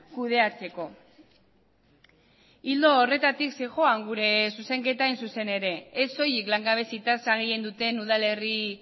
kudeatzeko ildo horretatik zihoan gure zuzenketa hain zuzen ere ez soilik langabezi tasa gehien duten udalerri